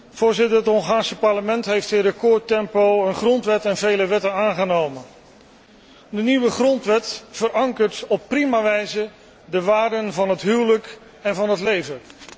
Voorzitter, het Hongaarse parlement heeft in recordtempo een grondwet en vele wetten aangenomen. De nieuwe grondwet verankert op prima wijze de waarden van het huwelijk en van het leven.